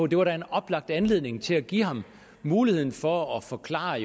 det var en oplagt anledning til at give ham mulighed for at forklare